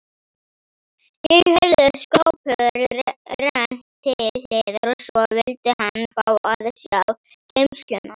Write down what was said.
Ég heyrði skáphurð rennt til hliðar og svo vildi hann fá að sjá geymsluna.